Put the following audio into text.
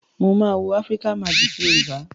Mo maa wo Africa Magic Yorùbá.